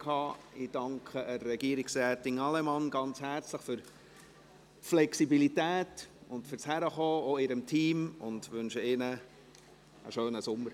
Ich danke Regierungsrätin Allemann und ihrem Team herzlich für ihr Kommen und die Flexibilität und wünsche ihnen einen schönen Sommer.